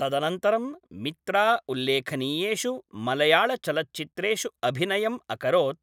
तदनन्तरं मित्रा उल्लेखनीयषु मलयाळचलच्चित्रेषु अभिनयम् अकरोत्,